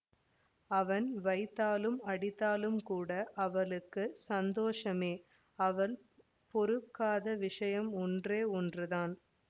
அவன் வைதாலும் அடித்தாலுங்கூட அவளுக்கு சந்தோஷமே அவள் பொறுக்காத விஷயம் ஒன்றே ஒன்று தான்